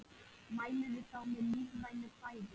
Mælirðu þá með lífrænu fæði?